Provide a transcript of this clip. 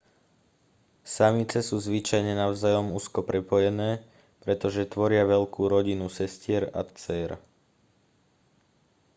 samice sú zvyčajne navzájom úzko prepojené pretože tvoria veľkú rodinu sestier a dcér